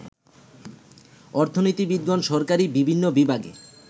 অর্থনীতিবিদগণ সরকারী বিভিন্ন বিভাগে